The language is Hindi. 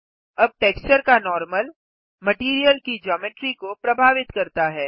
अब टेक्सचर का नॉर्मल मटैरियल की जियोमेट्री को प्रभावित करता है